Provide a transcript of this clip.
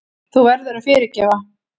Þú verður að fyrirgefa.